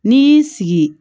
N'i y'i sigi